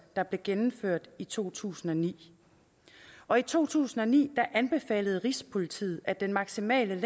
der blev gennemført i to tusind og ni og i to tusind og ni anbefalede rigspolitiet at den maksimale